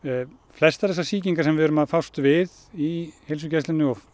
flestar þessar sýkingar sem erum að fást við í heilsugæslunni og